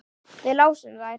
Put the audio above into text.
Við lásum þær.